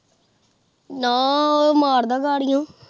ਨਾ ਉਹ ਮਾਰਦਾ ਗਾਰਿਯੋ